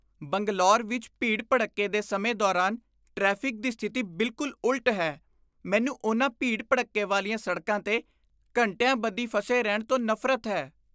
ਬੰਗਲੌਰ ਵਿੱਚ ਭੀੜ ਭੜੱਕੇ ਦੇ ਸਮੇਂ ਦੌਰਾਨ ਟ੍ਰੈਫਿਕ ਦੀ ਸਥਿਤੀ ਬਿਲਕੁਲ ਉਲਟ ਹੈ ਮੈਨੂੰ ਉਨ੍ਹਾਂ ਭੀੜ ਭੜੱਕੇ ਵਾਲੀਆਂ ਸੜਕਾਂ 'ਤੇ ਘੰਟਿਆਂ ਬੱਧੀ ਫਸੇ ਰਹਿਣ ਤੋਂ ਨਫ਼ਰਤ ਹੈ